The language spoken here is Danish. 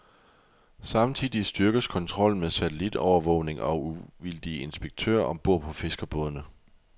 Samtidig styrkes kontrollen med satellitovervågning og uvildige inspektører om bord på fiskerbådene.